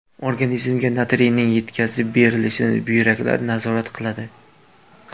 Organizmga natriyning yetkazib berilishini buyraklar nazorat qiladi.